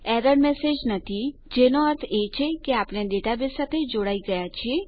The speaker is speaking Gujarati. એરર મેસેજનથી જેનો અર્થ એ છે કે આપણે ડેટાબેઝ સાથે જોડાઈ ગયા છીએ